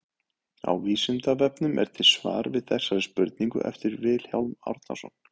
Á Vísindavefnum er til svar við þessari spurningu eftir Vilhjálm Árnason.